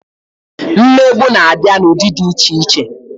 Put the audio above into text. Mmegbu na-abịa n'ụdị dị iche iche